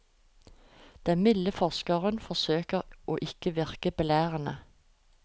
Den milde forskeren forsøker å ikke virke for belærende.